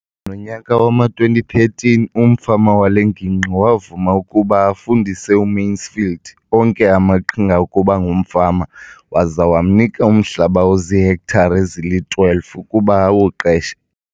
Nonyaka wama-2013, umfama wale ngingqi wavuma ukuba afundise uMansfield onke amaqhinga okuba ngumfama waza wamnika umhlaba ozihektare ezili-12 ukuba awuqeshe.